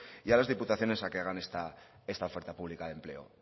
y a las diputaciones a que hagan esta oferta pública de empleo